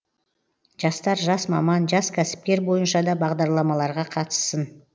жастар жас маман жас кәсіпкер бойынша да бағдарламаларға қатыссын